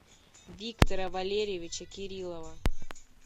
виктора валерьевича кириллова